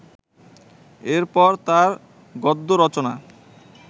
এর পর তাঁর গদ্য রচনা